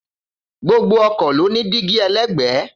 Gbogbo ọkọ̀ ló ní dígí ẹlẹ́gbẹ̀ẹ́